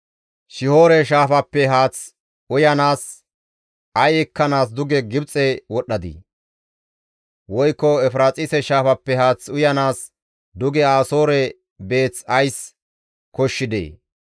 Shihoore shaafappe haath uyanaas, ay ekkanaas duge Gibxe wodhdhadii? Woykko Efiraaxise shaafappe haath uyanaas duge Asoore beeth ays koshshidee?